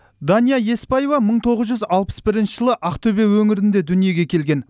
дания еспаева мың тоғыз жүз алпыс бірінші жылы ақтөбе өңірінде дүниеге келген